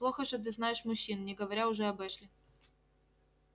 плохо же ты знаешь мужчин не говоря уже об эшли